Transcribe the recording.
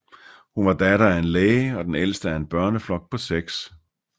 Hun var datter af en læge og den ældste af en børneflok på 6